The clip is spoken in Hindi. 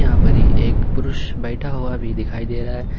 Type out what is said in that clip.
यहां पर एक पुरुष बैठा हुआ भी दिखाई दे रहा है।